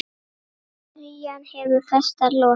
Ferjan hefur festar losað.